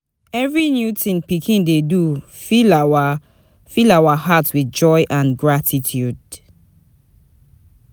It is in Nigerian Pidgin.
Every new thing pikin do dey fill our fill our hearts with joy and gratitude.)